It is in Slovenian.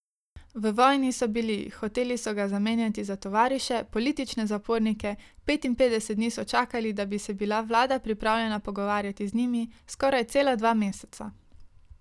V vojni so bili, hoteli so ga zamenjati za tovariše, politične zapornike, petinpetdeset dni so čakali, da bi se bila vlada pripravljena pogovarjati z njimi, skoraj cela dva meseca!